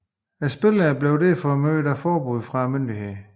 Spillene blev derfor mødt af forbud fra myndighederne